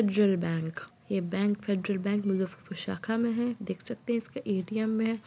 डरल बैंक ये bank Federal Bank Muzaffarpur शाखा में है। देख सकते हैं इसका ए.टी.एम. है।